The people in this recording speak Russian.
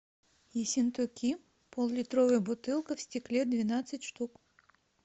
ессентуки пол литровая бутылка в стекле двенадцать штук